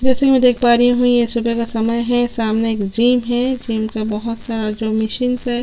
जैसे की मैं देख पा रही हूँ यह सुबह का समय है सामने एक जिम है जिम में बहुत सारे जो मशीन्स है।